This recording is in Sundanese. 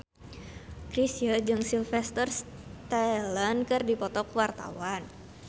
Chrisye jeung Sylvester Stallone keur dipoto ku wartawan